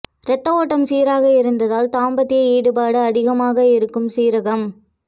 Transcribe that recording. ரத்த ஓட்டம் சீராக இருந்தால் தாம்பத்ய ஈடுபாடு அதிகமாக இருக்கும் சீரகம்